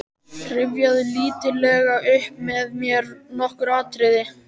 Rifjaðu lítillega upp með mér nokkur atriði.